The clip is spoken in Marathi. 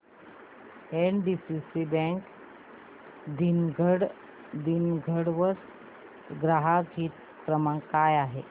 एनडीसीसी बँक दिघवड चा ग्राहक हित क्रमांक काय आहे